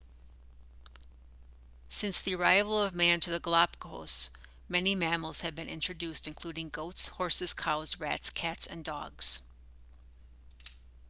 since the arrival of man to the galapagos many mammals have been introduced including goats horses cows rats cats and dogs